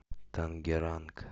тангеранг